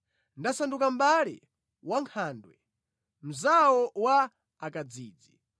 Ndasanduka mʼbale wa nkhandwe, mnzawo wa akadzidzi.